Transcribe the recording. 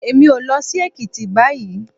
Èmi ò lọ sí Èkìtì báyìí.